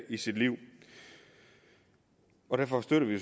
i sit liv derfor støtter vi